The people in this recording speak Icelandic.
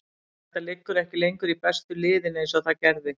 Þetta liggur ekki lengur í bestu liðin eins og það gerði.